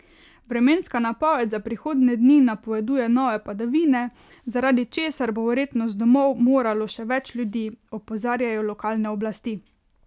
Vremenska napoved za prihodnje dni napoveduje nove padavine, zaradi česar bo verjetno z domov moralo še več ljudi, opozarjajo lokalne oblasti.